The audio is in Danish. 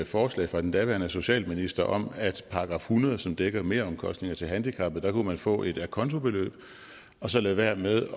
forslag fra den daværende socialminister om at man § hundrede som dækker meromkostninger til handicappede kunne få et acontobeløb og så lade være med